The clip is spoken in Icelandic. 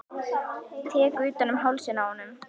Tek utan um hálsinn á honum.